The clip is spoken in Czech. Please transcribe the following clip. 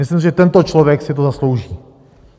Myslím, že tento člověk si to zaslouží.